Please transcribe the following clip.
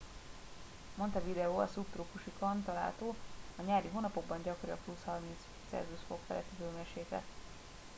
montevideo a szubtrópusokon található; a nyári hónapokban gyakori a + 30°c feletti hőmérséklet